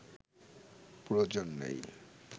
প্রয়োজন নেই